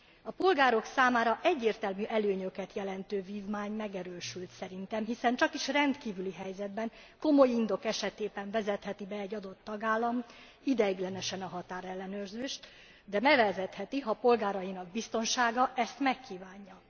A polgárok számára egyértelmű előnyöket jelentő vívmány megerősödött szerintem, hiszen csakis rendkívüli helyzetben, komoly indok esetében vezetheti be egy adott tagállam ideiglenesen a határellenőrzést, de bevezetheti, ha polgárainak biztonsága ezt megkívánja.